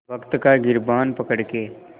वक़्त का गिरबान पकड़ के